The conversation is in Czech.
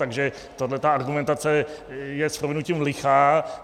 Takže tahle ta argumentace je s prominutím lichá.